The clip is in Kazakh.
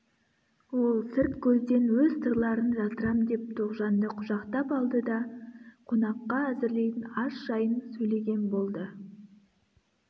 ол сырт көзден өз сырларын жасырам деп тоғжанды құшақтап алды да қонаққа әзірлейтін ас жайын сөйлеген болды